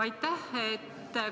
Aitäh!